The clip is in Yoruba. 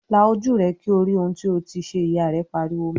"La ojú rẹ kí o rí ohun tí o ti ṣe!" Ìyá rẹ̀ pariwo mọ́ ọ